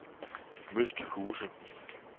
Møsthuse